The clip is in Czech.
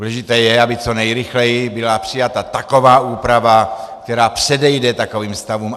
Důležité je, aby co nejrychleji byla přijata taková úprava, která předejde takovým stavům.